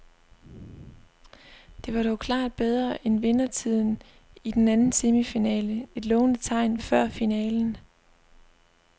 Det var dog klart bedre end vindertiden i den anden semifinale, et lovende tegn før finalen.